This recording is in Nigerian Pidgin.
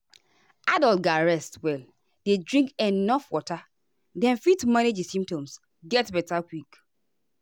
adults ga rest well dey drink enuf water make dem fit manage di symptoms get beta quick.